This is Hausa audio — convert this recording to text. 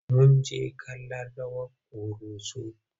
Mun jjke kallon rawar ƙoroso.